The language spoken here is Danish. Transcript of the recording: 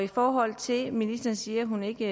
i forhold til at ministeren siger at hun ikke